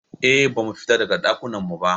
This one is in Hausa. Eh, Ba mu fita daga Ɗakunan mu ba